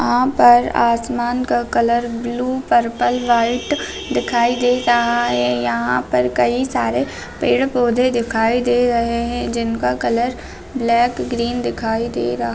यहाँ पर आसमान का कलर ब्लू पर्पल व्हाइट दिखाई दे रहा है यहाँ पर कई सारे पेड़-पौधे दिखाई दे रहे है जिनका कलर ब्लैक ग्रीन दिखाई दे रहा।